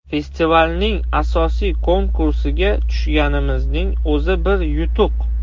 Festivalning asosiy konkursiga tushganimizning o‘zi bir yutuq.